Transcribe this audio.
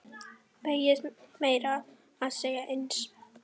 Beygist meira að segja eins!